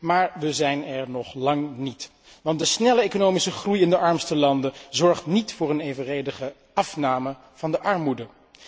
Maar wij zijn er nog lang niet, want de snelle economische groei in de armste landen zorgt niet voor een evenredige afname van de armoede.